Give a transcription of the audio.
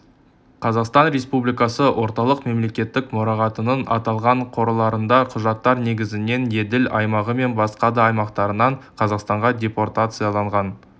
қазақстан республикасы орталық мемлекеттік мұрағатының аталған қорларында құжаттар негізінен еділ аймағы мен басқа да аймақтарынан қазақстанға депортацияланған